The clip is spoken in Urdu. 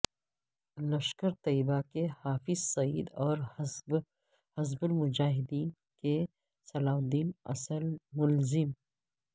لشکر طیبہ کے حافظ سعید اور حزب المجاہدین کے صلاح الدین اصل ملزم